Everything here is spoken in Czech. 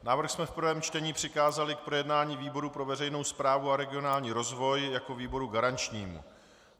Návrh jsme v prvém čtení přikázali k projednání výboru pro veřejnou správu a regionální rozvoj jako výboru garančnímu.